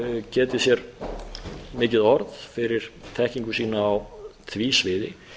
getið sér mikið orð fyrir þekkingu sína á því sviði